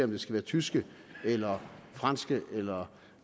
det skal være tyske eller franske eller